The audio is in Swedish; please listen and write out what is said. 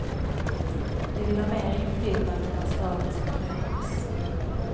De vill ha mer inflytande när staden ska förändras.